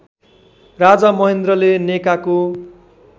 राजा महेन्द्रले नेकाको